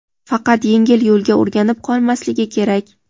faqat yengil yo‘lga o‘rganib qolmasligi kerak.